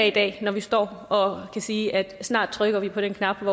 i dag når vi står og kan sige at snart trykker vi på den knap